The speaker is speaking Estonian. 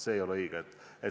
See ei ole õige.